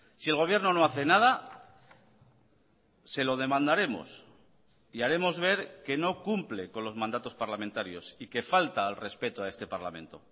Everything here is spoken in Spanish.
si el gobierno no hace nada se lo demandaremos y haremos ver que no cumple con los mandatos parlamentarios y que falta al respeto a este parlamento